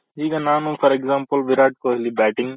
ಈಗ ನಾನು for example Virat Kohli batting